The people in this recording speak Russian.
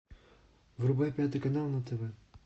врубай пятый канал на тв